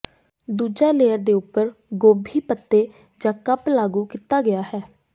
ਦੂਜਾ ਲੇਅਰ ਦੇ ਉੱਪਰ ਗੋਭੀ ਪੱਤੇ ਜ ਕੱਪ ਲਾਗੂ ਕੀਤਾ ਗਿਆ ਹੈ